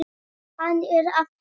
Hann er að heiman.